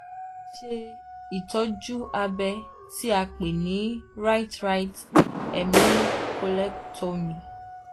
mo ti ṣe um ìṣètọ́jú abẹ́ um tí a pè ní right right hemi collectomy